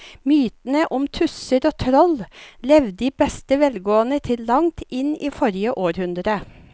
Mytene om tusser og troll levde i beste velgående til langt inn i forrige århundre.